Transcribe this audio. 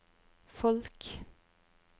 folk